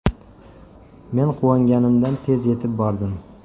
Men quvonganimdan tez yetib bordim.